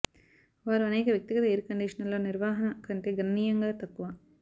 వారు అనేక వ్యక్తిగత ఎయిర్ కండిషనర్లు నిర్వహణ కంటే గణనీయంగా తక్కువ